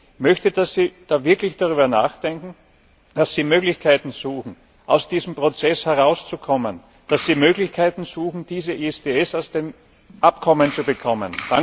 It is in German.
Ich möchte, dass Sie wirklich darüber nachdenken, dass Sie Möglichkeiten suchen, aus diesem Prozess herauszukommen, dass Sie Möglichkeiten suchen, dieses ISDS aus den Abkommen zu bekommen.